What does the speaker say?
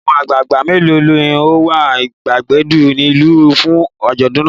Àwọn àgbàgbà mélòó ni ó wà ìgbàgede ìlú fún àjọ̀dún náà?